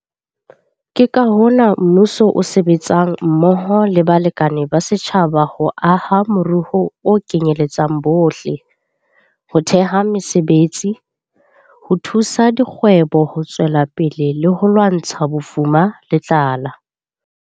Ke ka hona mmuso o sebetsang mmoho le balekane ba setjhaba ho aha moruo o kenyeletsang bohle, ho theha mesebetsi, ho thusa dikgwebo ho tswela pele le ho lwantsha bofuma le tlala.